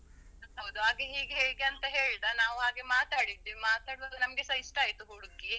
ಹೌದು. ಆಗ ಹಾಗೆ ಹೀಗೆ ಅಂತ ಹೇಳ್ದ, ನಾವ್ ಮಾತಾಡಿದ್ವಿ ಮಾತಾಡ್ವಾಗ ನಮ್ಗೆಸ ಇಷ್ಟ ಆಯ್ತು ಹುಡ್ಗಿ.